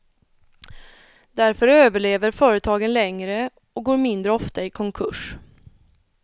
Därför överlever företagen längre och går mindre ofta i konkurs.